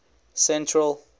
central